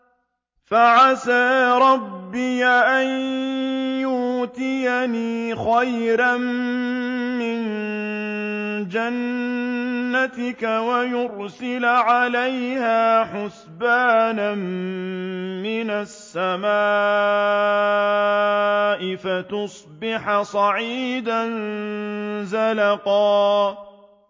فَعَسَىٰ رَبِّي أَن يُؤْتِيَنِ خَيْرًا مِّن جَنَّتِكَ وَيُرْسِلَ عَلَيْهَا حُسْبَانًا مِّنَ السَّمَاءِ فَتُصْبِحَ صَعِيدًا زَلَقًا